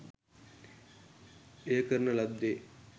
එය කරන ලද්දේ